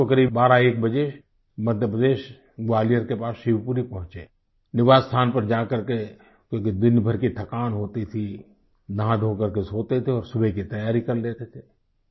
हम रात को करीब बारहएक बजे मध्य प्रदेश ग्वालियर के पास शिवपुरी पहुँचे निवास स्थान पर जा करके क्योंकि दिनभर की थकान होती थी नहाधोकर के सोते थे और सुबह की तैयारी कर लेते थे